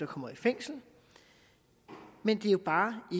kommer i fængsel men det er jo bare